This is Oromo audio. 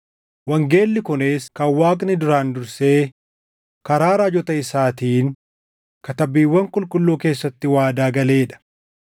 Wangeelli kunis kan Waaqni duraan dursee karaa raajota isaatiin Katabbiiwwan Qulqulluu keessatti waadaa galee dha.